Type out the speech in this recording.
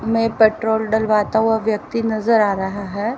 में पेट्रोल डलवाता हुआ व्यक्ति नजर आ रहा है।